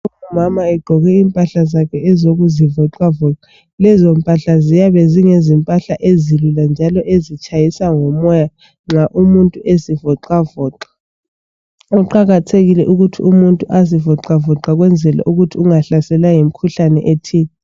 Umama egqoke impahla zakhe ezokuzivoxavoxa . Lezo mpahla ziyabe ziyizimpahla ezilula njalo ezitshayisa ngomoya nxa umuntu ezivoxavoxa. Kuqakathekile ukuthi umuntu ezivoxavoxe ukwenzela ukuthi ungahlaselwa yimikhuhlane ethile.